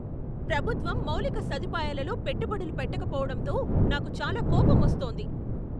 ప్రభుత్వం మౌలిక సదుపాయాలలో పెట్టుబడులు పెట్టకపోవడంతో నాకు చాలా కోపమొస్తోంది.